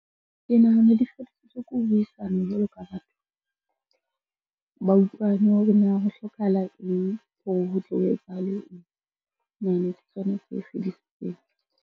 Ke nahana di fedisitswe ke ho buisana jwalo ka batho, ba utlwane hore na ho hlokahala eng hore ho tlo etsahale eng, sona se fedisitseng.